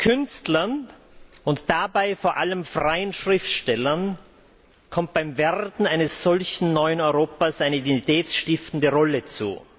Künstlern, und dabei vor allem freien Schriftstellern, kommt beim Werden eines solchen neuen Europas eine identitätsstiftende Rolle zu.